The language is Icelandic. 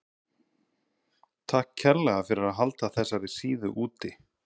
Takk kærlega fyrir að halda þessari síðu úti.